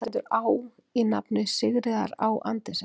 Fyrir hvað stendur Á í nafni Sigríðar Á Andersen?